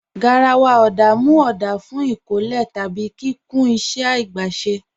Garàwà ọ̀dá mú ọ̀dá fún ikọ̀lẹ̀ tàbí kíkùn ìṣẹ̀ agbèsè.